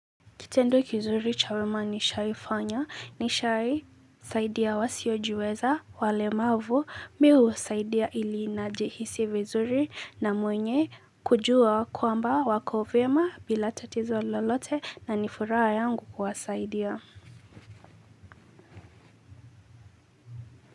Kitendo kizuri cha wema nishawahi fanya ni kusaidia wasiojiweza, wale ambao hawajiwezi. Niliwasaidia ili nijisikie vizuri na kujua kwamba wako salama bila tatizo lolote, na furaha yangu ni kuwasaidia.